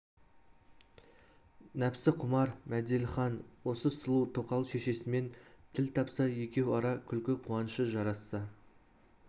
нәпсіқұмар мәделіхан осы сұлу тоқал шешесімен тіл тапса екеу ара күлкі-қуанышы жарасса